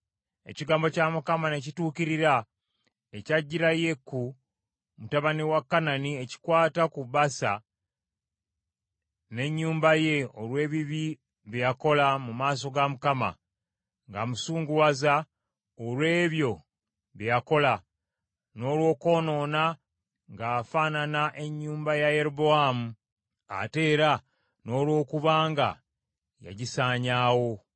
Ekigambo kya Mukama ne kituukirira, ekyajjira Yeeku mutabani wa Kanani ekikwata ku Baasa n’ennyumba ye olw’ebibi bye yakola mu maaso ga Mukama , ng’amusunguwaza olw’ebyo bye yakola, n’olw’okwonoona ng’afaanana ennyumba ya Yerobowaamu, ate era n’olw’okuba nga yagisaanyaawo.